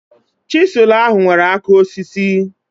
Chịsịlụ ahụ nwere áká osisi